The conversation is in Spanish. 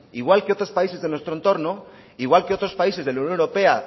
igual que otros países de nuestro entorno igual que otros países de la unión europea